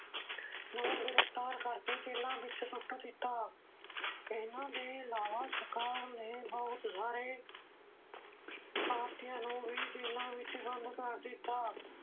ਨੂੰ ਗ੍ਰਿਫ਼ਤਾਰ ਕਰਕੇ ਜੇਲ੍ਹਾਂ ਵਿੱਚ ਸੁੱਟ ਦਿੱਤਾ ਇਹਨਾਂ ਦੇ ਇਲਾਵਾ ਸਰਕਾਰ ਨੇ ਬਹੁਤ ਸਾਰੇ ਭਾਰਤੀਆਂ ਨੂੰ ਵੀ ਜੇਲ੍ਹਾਂ ਵਿੱਚ ਬੰਦ ਕਰ ਦਿੱਤਾ।